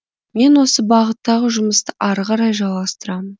мен осы бағыттағы жұмысты ары қарай жалғастырамын